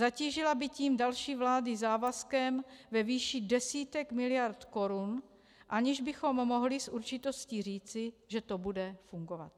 Zatížila by tím další vlády závazkem ve výši desítek miliard korun, aniž bychom mohli s určitostí říci, že to bude fungovat.